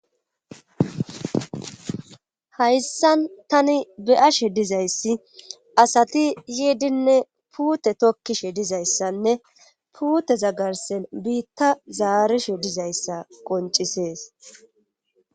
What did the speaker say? hayssan tani be'ashe dizayssi asati yiidinne puute tokkishe dizayssanne puute za garsen biitta zaarishe dizayssa qoncisees